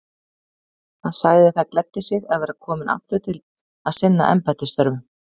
Hann sagði það gleddi sig að vera kominn aftur til að sinna embættisstörfum.